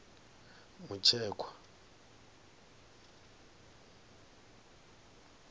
mutshekwa